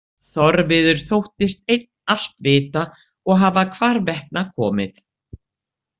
Þorviður þóttist einn allt vita og hafa hvarvetna komið.